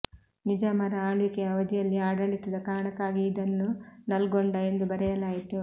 ನಿಜಾಮರ ಆಳ್ವಿಕೆಯ ಅವಧಿಯಲ್ಲಿ ಆಡಳಿತದ ಕಾರಣಕ್ಕಾಗಿ ಇದನ್ನು ನಲ್ಗೊಂಡ ಎಂದು ಬರೆಯಲಾಯಿತು